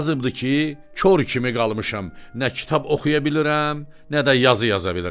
Yazıbdı ki, kor kimi qalmışam, nə kitab oxuya bilirəm, nə də yazı yaza bilirəm!